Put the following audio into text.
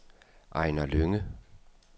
Ejnar Lynge